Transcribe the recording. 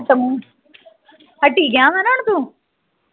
ਏਥੋਂ ਹੈਠੀ ਗਿਆ ਹਾਂ ਨਾ ਤੂੰ